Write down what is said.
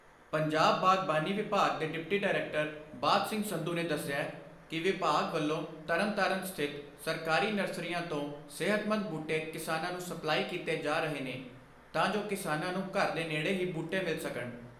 ਪੰਜਾਬ ਬਾਗਬਾਨੀ ਵਿਭਾਗ ਦੇ ਡਿਪਟੀ ਡਾਇਰੈਕਟਰ ਬਾਜ ਸਿੰਘ ਸੰਧੂ ਨੇ ਦੱਸਿਐ ਕਿ ਵਿਭਾਗ ਵੱਲੋਂ ਤਰਨ ਤਾਰਨ ਸਥਿਤ ਸਰਕਾਰੀ ਨਰਸਰੀਆਂ ਤੋਂ ਸਿਹਤਮੰਦ ਬੂਟੇ ਕਿਸਾਨਾਂ ਨੂੰ ਸਪਲਾਈ ਕੀਤੇ ਜਾ ਰਹੇ ਨੇ ਤਾਂ ਜੋ ਕਿਸਾਨਾਂ ਨੂੰ ਘਰ ਦੇ ਨੇੜੇ ਹੀ ਬੂਟੇ ਮਿਲ ਸਕਣ।